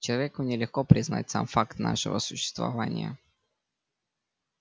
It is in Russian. человеку нелегко признать сам факт нашего существования